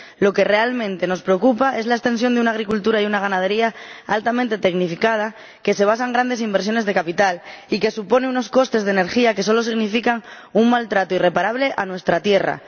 Lo que realmente nos preocupa es la extensión de una agricultura y una ganadería altamente tecnificadas que se basan en grandes inversiones de capital y que suponen unos costes de energía que solo significan un maltrato irreparable a nuestra tierra.